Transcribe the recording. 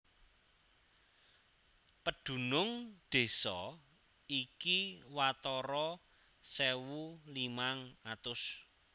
Pedunung désa iki watara sewu limang atus